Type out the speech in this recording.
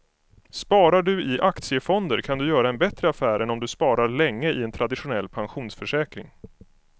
Sparar du i aktiefonder kan du göra en bättre affär än om du sparar länge i en traditionell pensionsförsäkring.